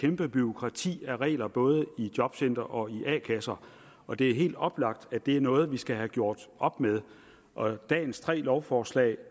kæmpe bureaukrati af regler både i jobcentre og i a kasser og det er helt oplagt at det er noget vi skal have gjort op med dagens tre lovforslag